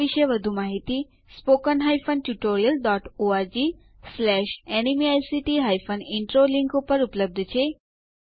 આ મિશન વિશે વધુ જાણકારી આ લિંક ઉપર ઉપલબ્ધ છે